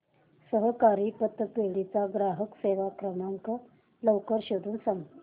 सहकारी पतपेढी चा ग्राहक सेवा क्रमांक लवकर शोधून सांग